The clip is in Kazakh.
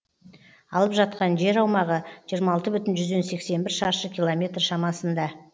алып жатқан жер аумағы жиырма алты бүтін жүзден сексен бір шаршы километр шамасында